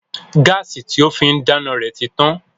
Gáàsì tí ó fín dáná rẹ̀ ti tán